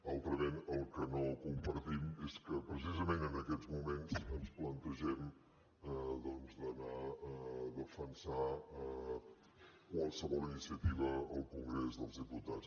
altrament el que no compartim és que precisament en aquests moments ens plantegem doncs d’anar a defensar qualsevol iniciativa al congrés dels diputats